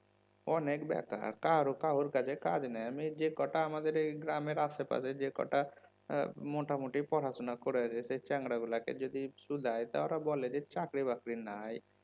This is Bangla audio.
অনেক বেকার কারও কাউর কাছে কাজ নাই আমি যে কটা আমাদের এই গ্রামের আশে পাশে যে কটা আহ মোটামুটি পড়াশোনা করে যে চ্যাংড়া গুলোকে যদি শুধাই তা ওরা বলে যে চাকরি বাকরি নাই